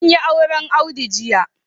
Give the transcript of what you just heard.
An yi auren Audu jiya